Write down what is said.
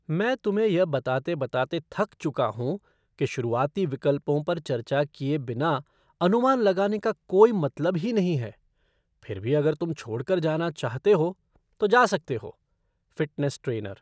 मैं तुम्हें यह बताते बताते थक चुका हूँ कि शुरुआती विकल्पों पर चर्चा किए बिना अनुमान लगाने का कोई मतलब ही नहीं है, फिर भी अगर तुम छोड़कर जाना चाहते हो, तो जा सकते हो। Fitness trainer